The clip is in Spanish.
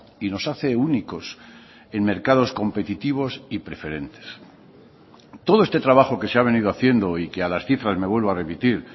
y nos hace únicos en mercados competitivos y preferentes todo este trabajo que se ha venido haciendo y que a las cifras me vuelvo a remitir